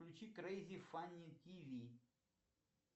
включи крейзи фанни тв